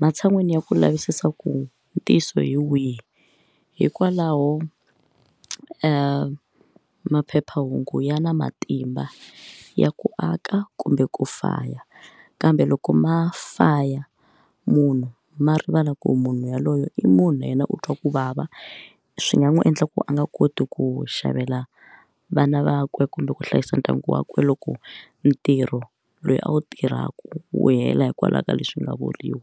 matshan'wini ya ku lavisisa ku ntiyiso hi wihi hikwalaho maphephahungu ya na matimba ya ku aka kumbe ku faya kambe loko ma faya munhu ma rivala ku munhu yaloyo i munhu yena u twa ku vava swi nga n'wi endla ku a nga koti ku xavela vana vakwe kumbe ku hlayisa ndyangu wa kwe loko ntirho loyi a wu tirhaka wu hela hikwalaho ka leswi nga vuriwa.